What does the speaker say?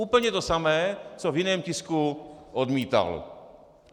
Úplně to samé, co v jiném tisku odmítal.